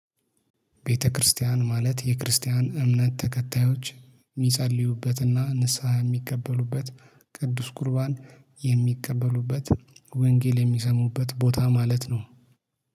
ቤተክርስቲያን ማለት የክርስቲያን እምነት ተከታዮች የሚጸልዩበትና ንስሃ የሚቀበሉበት ቅዱስ ቁርባን የሚቀበሉበት ወንጌል የሚሰሙበት ቦታ ማለት ነው።